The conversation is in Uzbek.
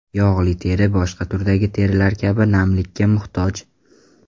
Yog‘li teri boshqa turdagi terilar kabi namlikka muhtoj.